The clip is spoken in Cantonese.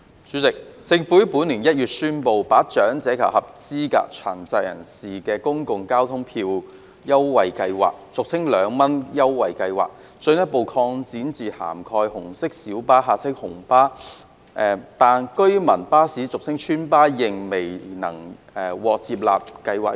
主席，政府於本年1月宣布，把政府長者及合資格殘疾人士公共交通票價優惠計劃進一步擴展至涵蓋紅色小巴，但居民巴士仍未獲納入計劃。